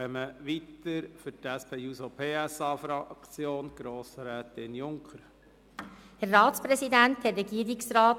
Für die SP-JUSO-PSA-Fraktion hat Grossrätin Junker das Wort.